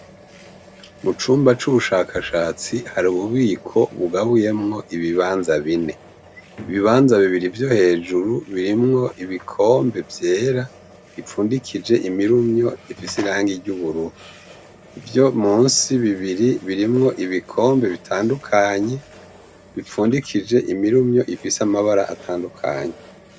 Icumba cububiko bw' imiti har'ububiko bugabuyemw' ibibanza bine, ibibanza bibiri vyo hejuru birimw' ibikombe vyera bipfundikij' imirumy' ifis' irangi ry'ubururu, ivyo munsi bibiri birimw' ibikombe bitandukanye bipfundikij' imirumy' ifis' amabar' atandukanye, kuruhome habonek' amatafar' ahiye.